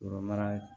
Yɔrɔ mara